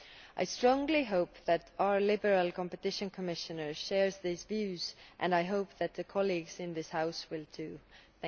I strongly hope that our Liberal Competition Commissioner shares these views and I hope that colleagues in this House do so also.